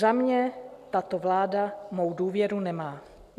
Za mě tato vláda mou důvěru nemá.